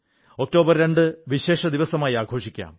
October 2 വിശേഷ ദിവസമായി ആഘോഷിക്കാം